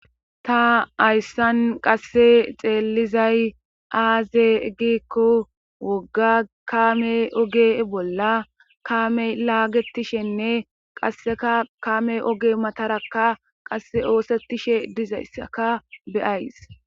Ta ayssan qasse xeelizay aaze gikko wogga kaame oge bolla kaame laagetishenne qasseka kame oge matarakka qasse oosettishe dizayssaka beyays